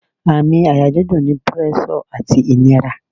Àmì àyà dídùn ni púrẹ́sọ̀ àti ìnira